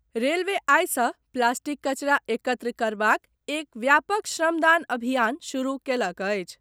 Railway आइ सॅ plastic कचरा एकत्र करबाक एक व्यापक श्रमदान अभियान शुरू कयलक अछि।